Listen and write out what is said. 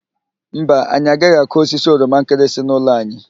Mba, anyị agaghị akụ osisi oroma nkịrịsị n'ụlọ anyị.